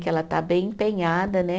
Que ela está bem empenhada, né?